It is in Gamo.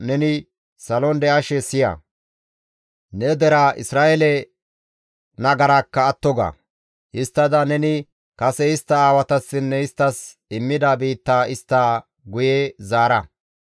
neni salon de7ashe siya. Ne deraa Isra7eele nagaraakka atto ga; histtada neni kase istta aawatassinne isttas immida biittaa istta guye zaara.